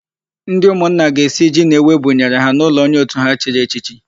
Ndị ụmụnna ga-esi ji na ewu ebụnyere ha n'ụlọ onye òtù ha chiri echichi.